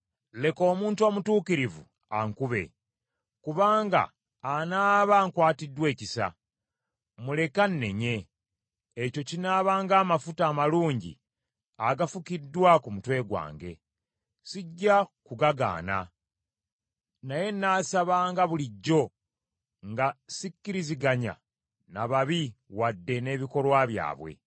Leka omuntu omutuukirivu ankube, kubanga anaaba ankwatiddwa ekisa; muleke annenye, ekyo kinaaba ng’amafuta amalungi agafukiddwa ku mutwe gwange; sijja kugagaana. Naye nnaasabanga bulijjo nga sikkiriziganya na babi wadde n’ebikolwa byabwe.